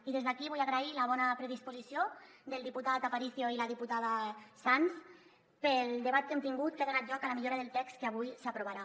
i des d’aquí vull agrair la bona predisposició del diputat aparicio i la diputada sanz pel debat que hem tingut que ha donat lloc a la millora del text que avui s’aprovarà